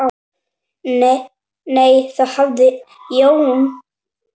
Nei, þá hafði Jón